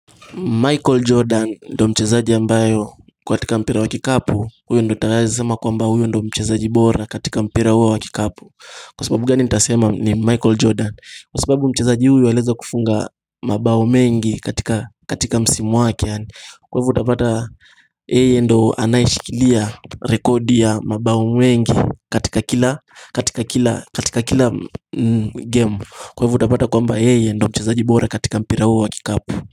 Michael Jordan ndo mchezaji ambaye kwa katika mpira wa kikapu huyo ndo nitawahi sema kwamba huyo ndo mchezaji bora katika mpira huo wa kikapu. Kwa sababu gani nitasema ni Michael Jordan, Kwa sababu mchezaji huyo anaeza kufunga mabao mengi katika msimu wake Kwa hivo utapata yeye ndo anayeshikilia rekodi ya mabao mengi katika kila game. Kwa hivo utapata kwamba yeye ndo mchezaji bora katika mpira huo wa kikapu.